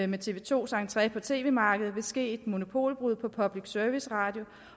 med tv 2’s entré på tv markedet vil ske et monopolbrud på public service radio